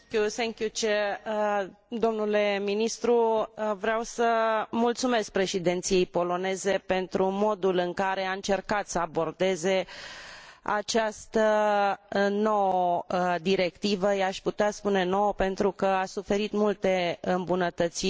Vreau să mulțumesc președinției poloneze pentru modul în care a încercat să abordeze această nouă directivă i aș putea spune nouă pentru că a suferit multe îmbunătățiri prin amendamentele depuse în cadrul Parlamentului.